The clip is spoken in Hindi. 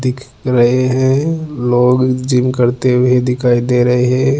दिख रहे हैं लोग जिम करते हुए दिखाई दे रहे हैं।